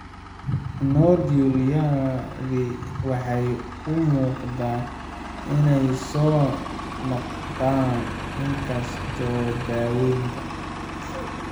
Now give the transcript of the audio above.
Nodules-yadani waxay u muuqdaan inay soo noqnoqdaan inkastoo daawaynta.